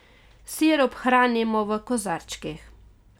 Sirup hranimo v kozarčkih.